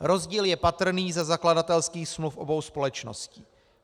Rozdíl je patrný ze zakladatelských smluv obou společností.